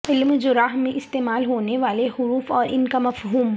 علم جرح میں استعمال ہونے والے حروف اور ان کا مفہوم